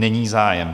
Není zájem.